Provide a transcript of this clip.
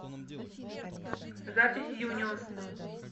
запись юнион